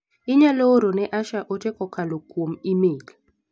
Inyalo oro ne Asha ote kokalo kuom imel?